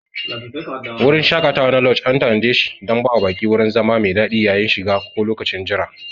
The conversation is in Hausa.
Wurin shaƙatawa na lauj an tanadeshi dan bawa baƙi wurin zama mai daɗi yayin shiga ko lokacin jira.